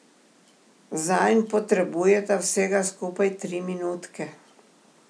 Zanj potrebujeta vsega skupaj tri minutke.